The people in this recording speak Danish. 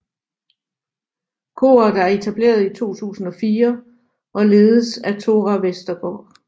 Koret er etableret i 2004 og ledes af Tóra Vestergaard